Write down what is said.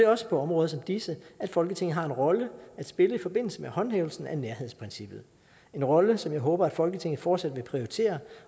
også på områder som disse at folketinget har en rolle at spille i forbindelse med håndhævelsen af nærhedsprincippet en rolle som jeg håber at folketinget fortsat vil prioritere